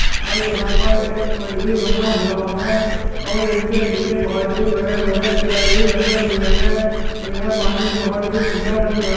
और यहां पर एक पुल भी बना हुआ है और इनके नीचे बहुत ही बड़े बड़े पिलर भी लगे हुए हैं और यह पानी बहुत ही ठंडा लग रहा --